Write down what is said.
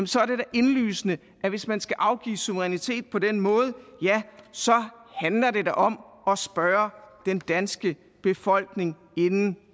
så er det da indlysende at hvis man skal afgive suverænitet på den måde handler det da om at spørge den danske befolkning inden